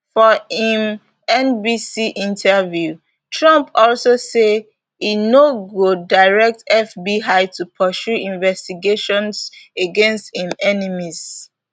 for im nbc interview trump also say e no go direct fbi to pursue investigations against im enemies